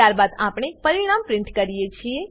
ત્યારબાદ આપણે પરિણામ પ્રીંટ કરીએ છીએ